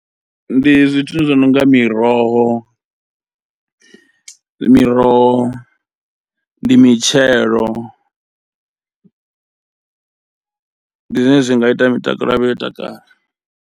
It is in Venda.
Ndi zwithu zwinonga miroho, miroho ndi mitshelo ndi zwone zwi nga ita mitakalo yavho yo takala.